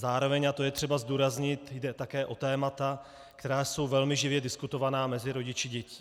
Zároveň, a to je třeba zdůraznit, jde také o témata, která jsou velmi živě diskutována mezi rodiči dětí.